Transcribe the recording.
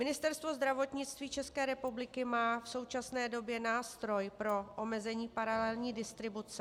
Ministerstvo zdravotnictví České republiky má v současné době nástroj pro omezení paralelní distribuce.